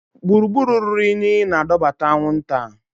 Gburugburu ruru unyi na-adọbata anwụnta.